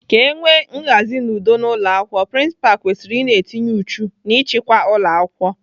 Ka enwe nhazi na udo n'ụlọakwụkwọ, prinsipalụ kwesịrị ina etinye uchu n'ịchịkwa ụlọakwụkwọ.